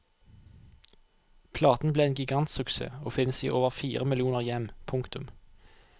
Platen ble en gigantsuksess og finnes i over fire millioner hjem. punktum